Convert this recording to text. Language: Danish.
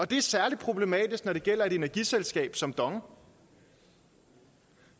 det er særlig problematisk når det gælder et energiselskab som dong